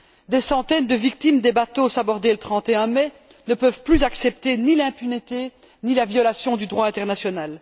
Des centaines de victimes des bateaux sabordés le 31 mai ne peuvent plus accepter ni l'impunité, ni la violation du droit international.